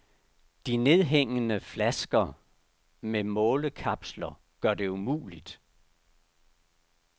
De nedhængende flasker med målekapsler gør det umuligt.